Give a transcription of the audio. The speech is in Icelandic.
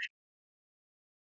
fyrir ástina